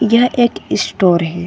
यह एक स्टोर है।